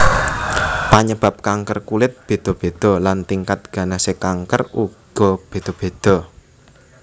Panyebab kanker kulit béda béda lan tingkat ganasé kanker uga béda béda